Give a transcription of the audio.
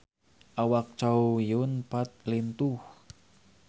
Awak Chow Yun Fat lintuh